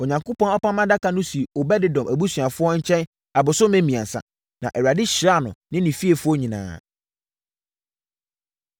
Onyankopɔn Apam Adaka no sii Obed-Edom abusuafoɔ nkyɛn abosome mmiɛnsa. Na Awurade hyiraa no ne ne fiefoɔ nyinaa.